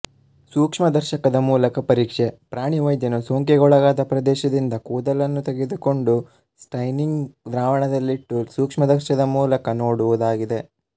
ಸೂಕ್ಷ್ಮದರ್ಶಕದ ಮೂಲಕ ಪರೀಕ್ಷೆ ಪ್ರಾಣಿ ವೈದ್ಯನು ಸೋಂಕಿಗೊಳಗಾದ ಪ್ರದೇಶದಿಂದ ಕೂದಲನ್ನು ತೆಗೆದುಕೊಂಡು ಸ್ಟೈನಿಂಗ್ ದ್ರಾವಣದಲ್ಲಿಟ್ಟು ಸೂಕ್ಷ್ಮದರ್ಶಕದ ಮೂಲಕ ನೋಡುವುದಾಗಿದೆ